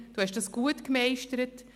Das haben Sie gut gemeistert.